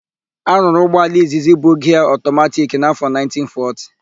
A rụrụ ụgbọala izizi bu giaa ọtọmatiki n'áfọ 1940.